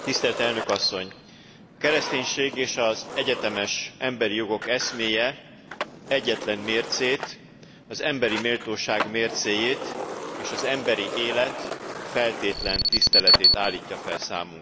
A kereszténység és az egyetemes emberi jogok eszméje egyetlen mércét, az emberi méltóság mércéjét, és az emberi élet feltétlen tiszteletét állítja fel számunkra.